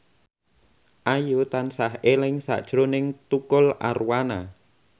Ayu tansah eling sakjroning Tukul Arwana